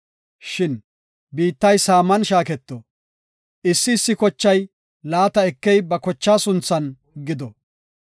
Shin biittay saaman shaaketo; issi issi kochay laata ekey ba kochaa sunthan gido.